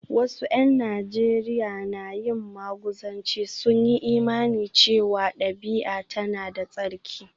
Wasu ’yan Najeriya na yin maguzanci, sun yi imanin cewa dabi’a tana da tsarki